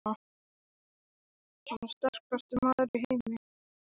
Hann er sterkasti maður í heimi!